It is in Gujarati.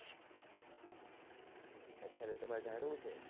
અચ્છા તો તમારે જાણવું છે